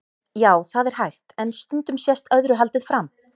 Já, það er hægt, en stundum sést öðru haldið fram.